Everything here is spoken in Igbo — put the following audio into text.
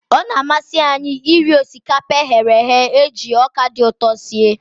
Ọ na-amasị anyị iri osikapa e ghere eghe e ji ọka dị ụtọ sie.